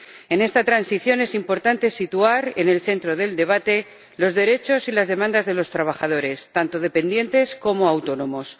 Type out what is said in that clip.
En esta transición es importante situar en el centro del debate los derechos y las demandas de los trabajadores, tanto dependientes como autónomos.